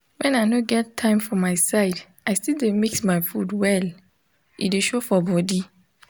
when i no get time for my side i still dey mix my food well e dey show for bodi